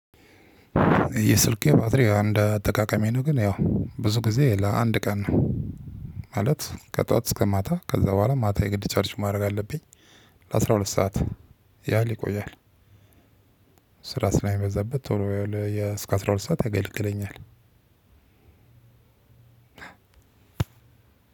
የስልኬ ባትሪ አንድ አጠቃቀሜ ነው ግን ያው ብዙ ጊዜ ለአንድ ቀን ማለት ከጠዋት እስከ ማታ ከዛ በኋላ ማታ የግድ ቻርጅ ማድረግ አለብኝ። ለአስራ ሁለት ሰዓት ያህል ይቆያል። ስራ ስለሚበዛበት ቶሎ እስከ አስራ ሁለት ሰዓት አገልግለኛል አ